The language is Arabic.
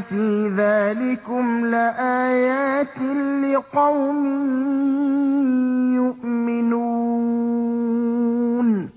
فِي ذَٰلِكُمْ لَآيَاتٍ لِّقَوْمٍ يُؤْمِنُونَ